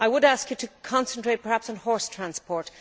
I would ask you to concentrate, perhaps, on horse transport.